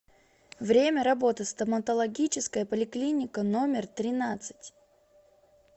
время работы стоматологическая поликлиника номер тринадцать